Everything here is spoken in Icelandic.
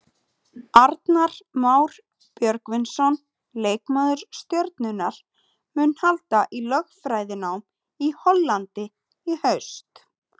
Arnar Már Björgvinsson, leikmaður Stjörnunnar, mun halda í lögfræðinám í Hollandi í haust.